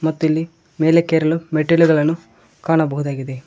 ಮತ್ತು ಇಲ್ಲಿ ಮೇಲಕ್ಕೆ ಏರಲು ಮೆಟ್ಟಿಲುಗಳನ್ನು ಕಾಣಬಹುದಾಗಿದೆ.